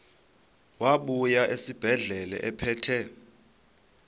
wabuya esibedlela ephethe